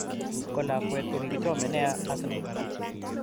Kolakwet kokichome nea Arsenal.